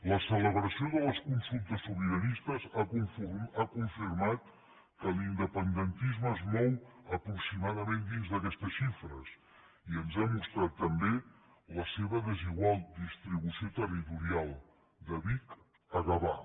la celebració de les consultes sobiranistes ha confirmat que l’independentisme es mou aproximadament dins d’aquestes xifres i ens ha mostrat també la seva desigual distribució territorial de vic a gavà